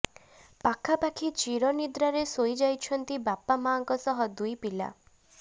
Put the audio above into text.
ପାଖାପାଖି ଚିର ନିଦ୍ରାରେ ଶୋଇ ଯାଇଛନ୍ତି ବାପା ମାଆଙ୍କ ସହ ଦୁଇ ପିଲା